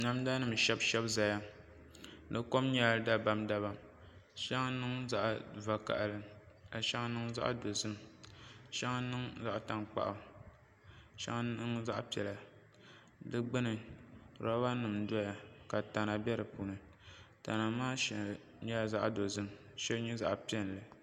Namda nim n shɛbi ʒɛnʒɛya di kom nyɛla dabam dabam di shɛŋa niŋ zaɣ vakaɣali ka shɛŋa niŋ zaɣ dozim shɛŋa niŋ zaɣ tankpaɣu shɛŋa niŋ zaɣ piɛla di gbuni roba nim n doya ka tana bɛ di puuni tana maa shɛli nyɛla zaɣ dozim ka shɛli nyɛ zaɣ piɛlli